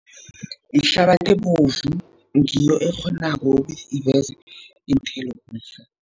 Yihlabathi ebovu, ngiyo ekghonako ukuthi iveze iinthelo lezi